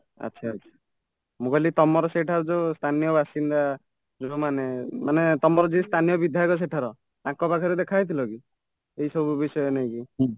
ଆଚ୍ଛା , ଆଚ୍ଛା ମୁଁକହିଲି ତମର ସେଇଟା ଯୋଉ ସ୍ଥାନୀୟ ବାସିନ୍ଦା ଯୋଉମାନେ ମାନେ ତମର ଯିଏ ସ୍ଥାନୀୟ ବିଧାୟକ ସେଠାର ତାଙ୍କ ପାଖରେ ଦେଖା ହେଇଥିଲକି ଏଇ ସବୁ ବିଷୟ ନେଇକି